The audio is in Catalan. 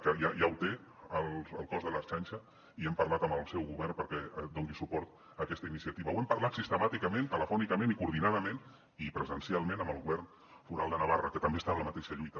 que ja ho té el cos de l’ertzaintza i hem parlat amb el seu govern perquè doni suport a aquesta iniciativa n’hem parlat sistemàticament telefònicament i coordinadament i presencialment amb el govern foral de navarra que també està en la mateixa lluita